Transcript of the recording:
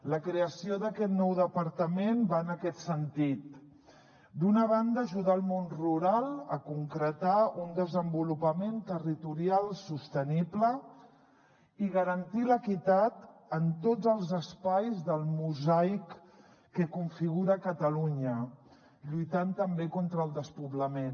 la creació d’aquest nou departament va en aquest sentit d’una banda ajudar el món rural a concretar un desenvolupament territorial sostenible i garantir l’equitat en tots els espais del mosaic que configura catalunya lluitant també contra el despoblament